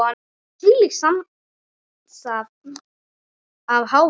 Og þvílíkt samsafn af hávaða.